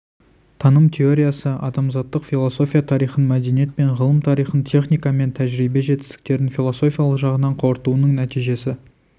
таным теориясы адамзаттық философия тарихын мәдениет пен ғылым тарихын техника мен тәжірибе жетістіктерін философиялық жағынан қорытуының нәтижесі